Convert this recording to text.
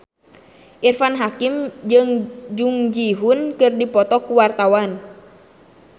Irfan Hakim jeung Jung Ji Hoon keur dipoto ku wartawan